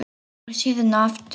Lokar síðan aftur.